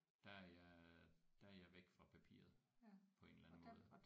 Der er jeg der er jeg væk fra papiret på en eller anden måde